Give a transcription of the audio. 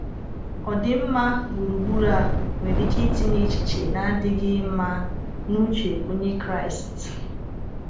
Ọdịmma gburugburu a nwere ike itinye echiche na-adịghị mma n’uche Onye Kraịst.